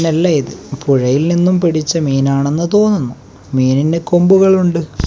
ഇതല്ലായിത് പുഴയിൽ നിന്നും പിടിച്ച മീൻ ആണെന്ന് തോന്നുന്നു മീനിന് കൊമ്പുകൾ ഉണ്ട്.